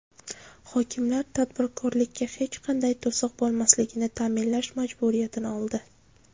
Hokimlar tadbirkorlikka hech qanday to‘siq bo‘lmasligini ta’minlash majburiyatini oldi.